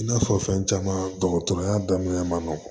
I n'a fɔ fɛn caman dɔgɔtɔrɔya daminɛna ma nɔgɔn